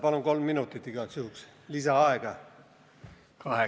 Palun kolm minutit igaks juhuks lisaaega!